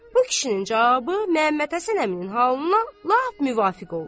Bu kişinin cavabı Məmmədhəsən əminin halına lap müvafiq oldu.